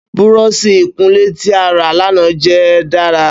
Búrọ̀ọ̀sì ìkunlé ti a ra lana jẹ dara.